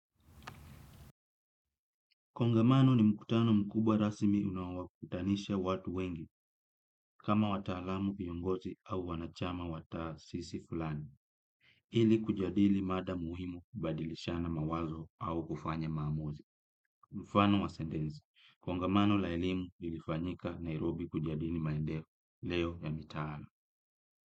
Kongamano ni mkutano mkubwa rasmi unaowakutanisha watu wengi, kama wataalamu, viongozi au wanachama wa taasisi fulani. Ili kujadili mada muhimu, kubadilishana mawazo au kufanya maamuzi. Mfano wa sentensi. Kongamano la elimu lilifanyika Nairobi kujadili maendeo. Leo ya mitaa.